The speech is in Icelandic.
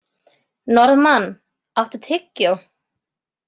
Norðmann, áttu tyggjó?